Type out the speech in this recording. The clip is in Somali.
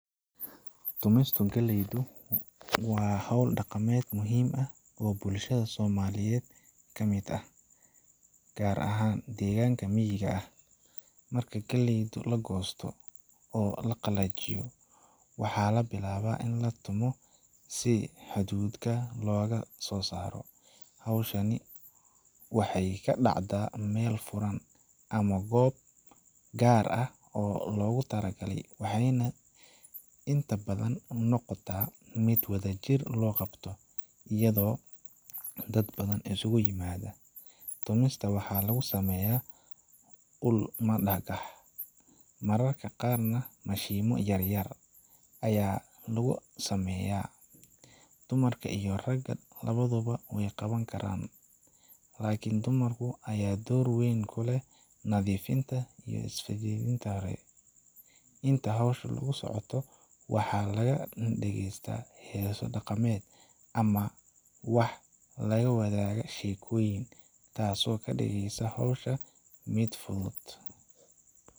Tumista galleyda waa hawl dhaqameed muhiim ah oo bulshada Soomaaliyeed ka mid ah, gaar ahaan deegaanka miyiga ah. Marka galleyda la goosto oo la qalajiyo, waxaa la bilaabaa in la tumo si hadhuudhka looga soo saaro. Hawshani waxay ka dhacdaa meel furan ama goob gaar ah oo loogu talagalay, waxayna inta badan noqotaa mid wadajir loo qabto, iyadoo dad badan isugu yimaadaan. Tumista waxaa lagu sameeyaa ul ama dhagax, mararka qaarna mashiinno yar yar ayaa la adeegsadaa haddii ay heli karaan. Dumarka iyo ragga labaduba way ka qeyb qaataan, laakiin dumarka ayaa door weyn ku leh nadiifinta iyo sifaynta. Inta hawshu socoto, waxaa laga dhegeystaa heeso dhaqameed ama waxaa la wadaaga sheekooyin, taas oo ka dhigeysa hawsha mid fudud.